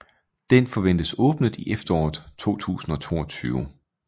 Den forventes åbnet i efteråret 2022